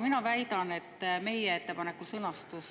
Mina väidan, et meie ettepaneku sõnastus,